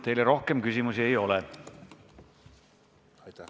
Teile rohkem küsimusi ei ole.